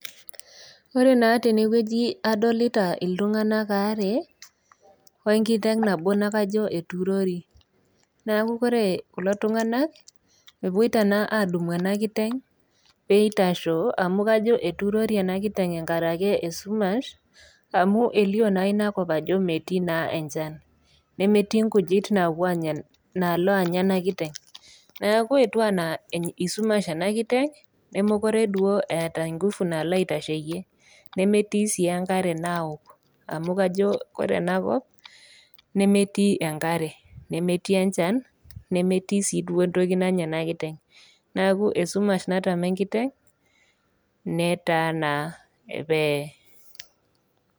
Ore naa tenewueji adolita iltung'anak aare wenkiteng nabo nakajo eturori naku kore kulo tung'anak epuoita naa adumu ena kiteng peitasho amu kajo eturori ena kiteng enkarake esumash amu elio naa inakop ajo metii naa enchan nemetii nkujit napuo naalo anya ena kiteng neaku etiu anaa isumash ena kiteng nemokure duo eeta ingufu nalo aitasheyie nemetii sii enkare naok amu kajo kore enakop nemetii enkare nemetii enchan nemetii sii duo entoki nanya ena kiteng naku esumash natama enkiteng netaa enaa peye.